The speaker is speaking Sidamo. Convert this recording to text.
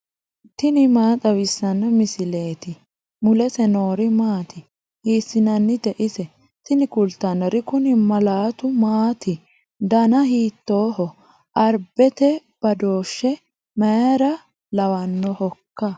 tini maa xawissanno misileeti ? mulese noori maati ? hiissinannite ise ? tini kultannori kuni mallaatu maati dana hiittooho arabete badooshshe mayra lawannohoikka